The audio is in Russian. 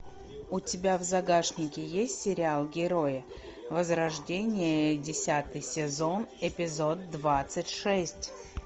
у тебя в загашнике есть сериал герои возрождение десятый сезон эпизод двадцать шесть